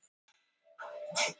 Breskum auðmönnum fjölgar